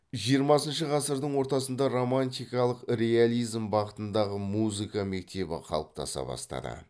жиырмасыншы ғасырдың ортасында романтикалық реализм бағытындағы музыка мектебі қалыптаса бастады